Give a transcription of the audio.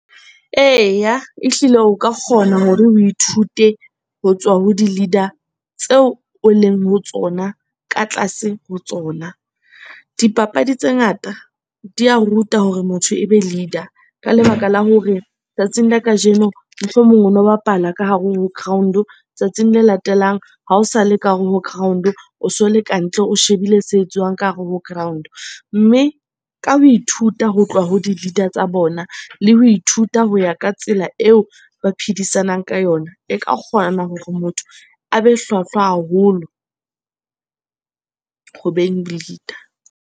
Eya, ehlile o ka kgona hore o ithute ho tswa ho di-leader tseo o leng ho tsona ka tlase ho tsona. Dipapadi tse ngata di a ruta hore motho e be leader. Ka lebaka la hore tsatsing la kajeno mohlomong o no bapala ka hare ho ground, o tsatsing le latelang ha o sa le ka hare ho ground o so le ka ntle, o shebile tse etsuwang ka hare ho ground. Mme ka ho ithuta ho tloha ho di-leader tsa bona le ho ithuta ho ya ka tsela eo ba phedisanang ka yona, e ka kgona hore motho a be hlwahlwa haholo ho beng leader.